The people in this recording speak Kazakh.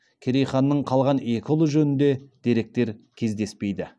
керей ханның қалған екі ұлы жөнінде деректер кездеспейді